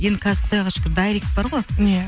енді қазір құдайға шүкір дайрект бар ғой ия